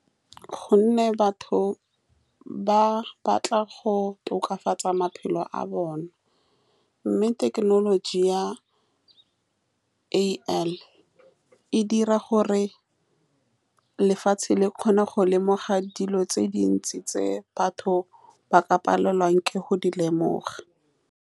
Ka gonne batho ba batla go tokafatsa maphelo a bone mme thekenoloji ya A_I, e dira gore lefatshe le kgone go lemoga dilo tse dintsi, tse batho ba ka palelwang ke go di lemoga.